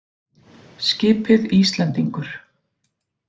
Skipið Íslendingur.